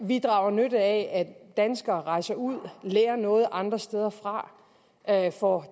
vi drager nytte af at danskere rejser ud lærer noget andre steder fra får